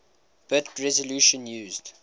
bit resolution used